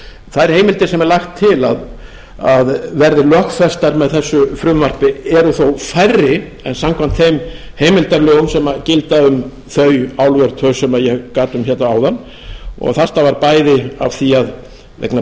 þær heimildir sem er lagt til að verði lögfestar með þessu frumvarpi eru þó færri en samkvæmt þeim heimildarlögum sem gilda um þau álver sem ég gat um hérna áðan og þetta var bæði vegna þess að vegna